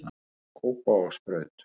Kópavogsbraut